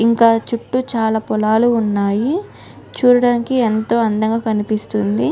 ఇంకా చుట్టూ చాల పొలాలు ఉన్నాయ్. చుడానికి ఎంతో అందంగా కనిపిస్తుంది.